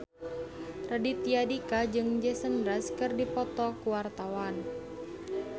Raditya Dika jeung Jason Mraz keur dipoto ku wartawan